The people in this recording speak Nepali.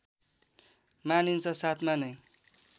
मानिन्छ साथमा नै